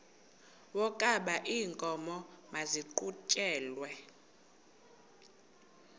wokaba iinkomo maziqhutyelwe